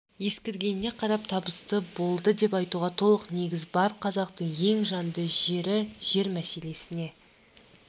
ескергеніне қарап табысты болды деп айтуға толық негіз бар қазақтың ең жанды жері жер мәселесіне